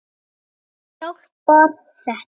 Vonandi hjálpar þetta.